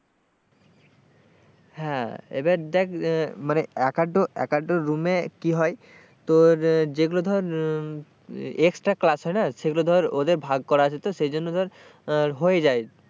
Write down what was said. হ্যাঁ এবার দেখ মানে এক একটা রুমে কি হয় তোর যেগুলো ধর extra class হয় না সেগুলো ধর ওদের ভাগ করা আছে এই জন্য ধর হয়ে যায়,